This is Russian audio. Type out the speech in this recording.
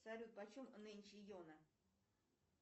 салют почем нынче йона